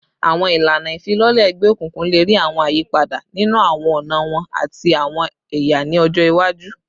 Awọn ilana ifilọlẹ egbeokunkun le rii awọn ayipada ninu awọn ọna wọn ati awọn ẹya ni ọjọ iwaju